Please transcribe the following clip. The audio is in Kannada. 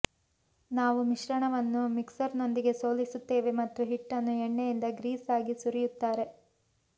ನಾವು ಮಿಶ್ರಣವನ್ನು ಮಿಕ್ಸರ್ನೊಂದಿಗೆ ಸೋಲಿಸುತ್ತೇವೆ ಮತ್ತು ಹಿಟ್ಟನ್ನು ಎಣ್ಣೆಯಿಂದ ಗ್ರೀಸ್ ಆಗಿ ಸುರಿಯುತ್ತಾರೆ